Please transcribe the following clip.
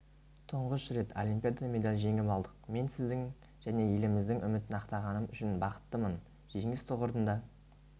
тұңғыш рет олимпиадада медаль жеңіп алдық мен сіздің және еліміздің үмітін ақтағаным үшін бақыттымын жеңіс тұғырында